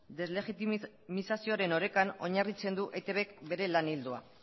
deslegitimizazioaren orekan oinarritzen du eitbk bere lan ildoa